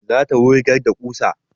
Za ta wurgar da ƙusa